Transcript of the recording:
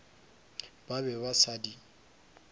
ba be ba sa di